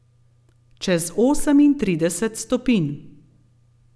Čez osemintrideset stopinj.